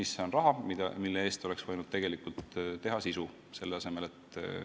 See on raha, mille maksmise asemel oleks võinud tegelikult sisu teha.